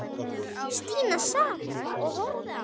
Stína sat og horfði á.